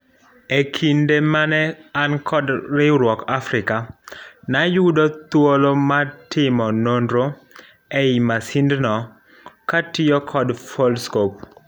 Ekinde mane an kod riwruok Africa, nayudo thuolo mar timo nonro ei masindno katiyo kod Foldscope.